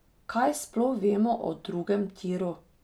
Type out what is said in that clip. Kaj sploh vemo o drugem tiru?